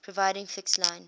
providing fixed line